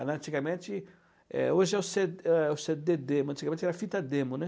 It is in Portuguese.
Antigamente, é hoje é o cê é o cê dê dê, mas antigamente era fita demo, né.